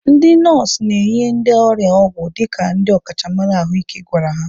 Ndị nọọsụ na-enye ndị ọrịa ọgwụ dịka ndị ọkachamara ahụike gwara ha.